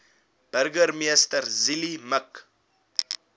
burgemeester zille mik